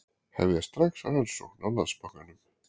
Hefja strax rannsókn á Landsbankanum